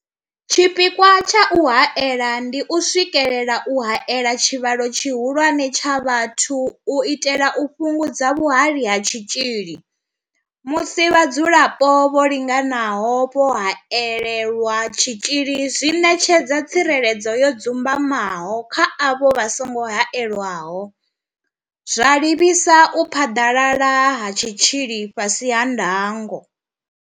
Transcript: Tshipikwa tsha u haela ndi u swikelela u haela tshivhalo tshihulwane tsha vhathu u itela u fhungudza vhuhali ha tshitzhili, musi vhadzulapo vho linganaho vho haelelwa tshitzhili zwi ṋetshedza tsireledzo yo dzumbamaho kha avho vha songo haelwaho, zwa livhisa u phaḓalala ha tshitzhili fhasi ha ndango.